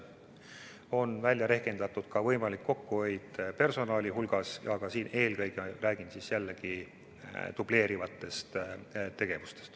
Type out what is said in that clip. On välja rehkendatud ka võimalik personali kokkuhoid ja siin pean ma jällegi silmas dubleerivaid tegevusi.